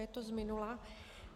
Je to z minula.